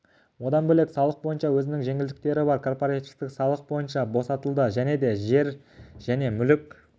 одан бөлек салық бойынша өзінің жеңілдіктері бар корпоративтік салық бойынша босатылады және де жер және мүлік